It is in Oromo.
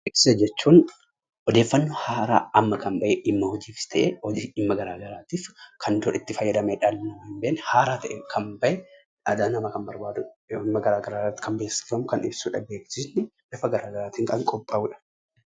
Beeksisa jechuun odeeffannoo haaraa amma kan bahe dhimma hojiifis ta'ee, dhimma garaagaraatiif kan itti fayyadamnu, haaraa kan bahe dhala namaaf kan barbaachisu, haaraa kan bahe kan beeksifamu kan ibsu, bifa garaagaraatiin kan qophaa'udha.